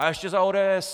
A ještě za ODS!"